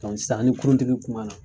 San ni kuruntigi kuma na